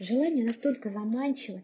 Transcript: желание настолько заманчиво